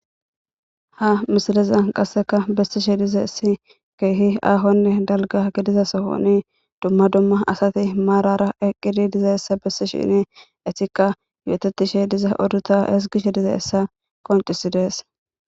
ha misileza qasseka bessishe diza essi keehi aahonne dalga gidiza sohoni dumma dumma asati maarara eqqidi diza essa bessi shinne etikka yoototishe diza oduta esgishe diza essa qoncisidees